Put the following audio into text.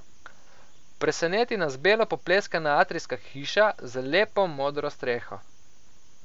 Preseneti nas belo popleskana atrijska hiša z lepo modro streho.